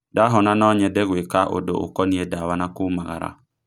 Ndahona no nyĩnde gũeka ũndũ ũkonie ndawa na kumagara